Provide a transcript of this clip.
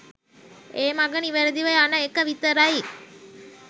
ඒ මග නිවැරදිව යන එක විතරයි.